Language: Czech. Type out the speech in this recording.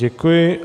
Děkuji.